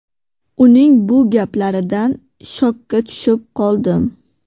Uning bu gaplaridan shokka tushib qoldim.